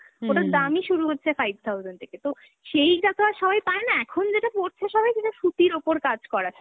ওটার দামই শুরু হচ্ছে five thousand থেকে তো সেইটা তো আর সবাই পায় না, এখন যেটা পরছে সবাই সেটা সুতির ওপর কাজ করা থাকে, সু